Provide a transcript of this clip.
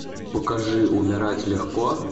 покажи умирать легко